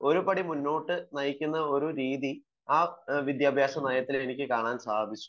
ഒരുപടി മുന്നോട്ട് കൂടി നയിക്കുന്ന ഒരു രീതി ആ വിദ്യാഭ്യാസ നയത്തിൽ എനിക്ക് കാണാൻ സാധിച്ചു